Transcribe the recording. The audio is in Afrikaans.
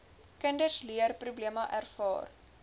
kinders leerprobleme ervaar